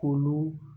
K'olu